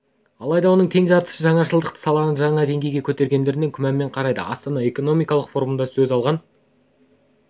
алайда оның тең жартысы жаңашылдық саланы жаңа деңгейге көтеретініне күмәнмен қарайды астана экономикалық форумында сөз алған